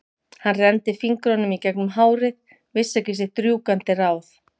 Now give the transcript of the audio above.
Hann renndi fingrunum í gegnum hárið, vissi ekki sitt rjúkandi ráð.